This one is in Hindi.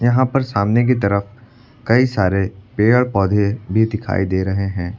यहां पर सामने की तरफ कई सारे पेड़ पौधे भी दिखाई दे रहे हैं।